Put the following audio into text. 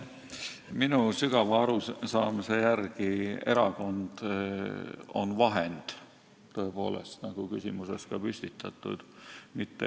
Minu sügava arusaamise järgi on erakond vahend, nagu küsimuses oli ka püstitatud.